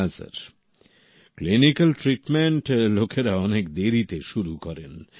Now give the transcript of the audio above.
হ্যাঁ sir clinical treatment লোকেরা অনেক দেরিতে শুরু করেন